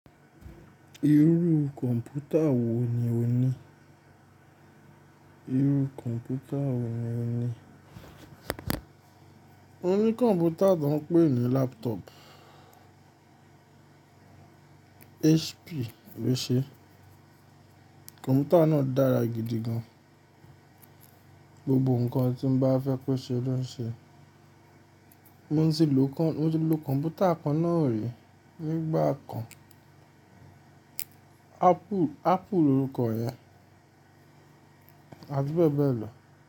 Irú kọ̀m̀pútà wò ní o ní? Irú kọ̀m̀pútà wò ní o ní? Mo ní kọ̀m̀pútà tó ń pè ní laptop HP ló ṣe é. Kọ̀m̀pútà náà dára gidi gan. Gbogbo ǹkan tí mo bá fẹ́ ko ṣe ó loń ṣe é. Mo sì lò kọ̀m̀pútà kan náà rí nígbà kan Apple lorúkọ rẹ̀, àti bẹ́ẹ̀ bẹ́ẹ̀ lọ.